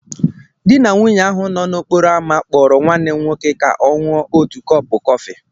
Di na nwunye ahụ nọ n'okporo ámá kpọrọ nwanne m nwoke ka ọ ṅụọ ótù kọọpụ kọfị